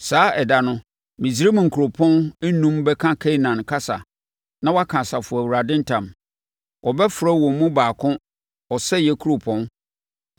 Saa ɛda no, Misraim nkuropɔn enum bɛka Kanaan kasa na wɔaka Asafo Awurade ntam. Wɔbɛfrɛ wɔn mu baako Ɔsɛeɛ Kuropɔn.